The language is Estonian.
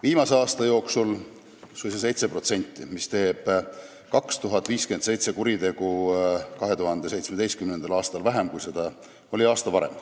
Viimase aasta jooksul vähenes see suisa 7%, 2057 kuritegu oli 2017. aastal vähem, kui oli aasta varem.